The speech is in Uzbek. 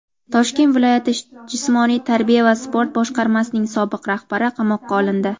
Toshkent viloyati jismoniy tarbiya va sport boshqarmasining sobiq rahbari qamoqqa olindi.